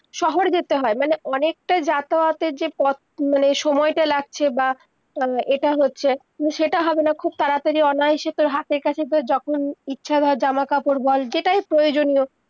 শহর যেতে হয়, মানে, অনেক তা যাতায়তের যে পথ মানে সময় তা লাগছে, বা উম এটা হচ্ছে সেটা হবেনা খুব তাড়াতাড়ি online এ এসে তর হাথের কাছে যখন ইচ্ছে হয় জামা-কাপড় বল যেটাই প্রয়োজনীয়-